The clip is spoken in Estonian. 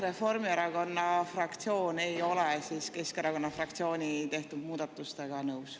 Reformierakonna fraktsioon ei ole Keskerakonna fraktsiooni tehtud muudatustega nõus.